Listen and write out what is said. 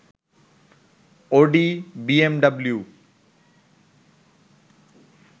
Audi, BMW